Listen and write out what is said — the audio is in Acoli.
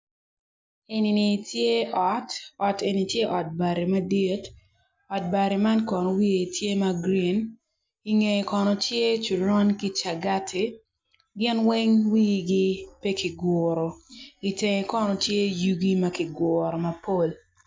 Enini tye ot, ot eni tye ot bati madit ot bati man kono wiye tye ma green i ngeye kono tye coron ki cagati ginweng wigi pekiguro i tenge kono tye yugi makiguro mapol.